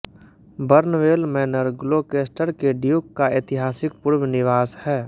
Barnwell Manor Gloucester के duke का ऐतिहासिक पूर्व निवास है